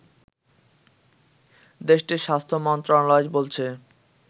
দেশটির স্বাস্থ্য মন্ত্রণালয় বলছে